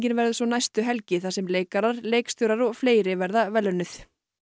verður svo næstu helgi þar sem leikarar leikstjórar og fleiri verða verðlaunuð